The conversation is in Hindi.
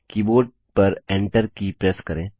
कीबोर्ड पर Enter की प्रेस करें